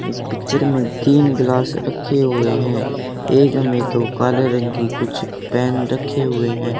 इस पिक्चर में तीन ग्लास रखे हुए हैं एक में तो काले रंग के कुछ पेन रखे हुए हैं।